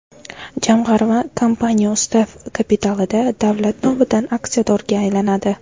Jamg‘arma kompaniya ustav kapitalida davlat nomidan aksiyadorga aylanadi.